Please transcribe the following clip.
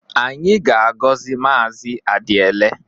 Anyị ga-agọzi Maazị Adiele.